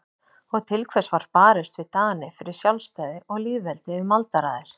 Og til hvers var barist við Dani fyrir sjálfstæði og lýðveldi um aldaraðir?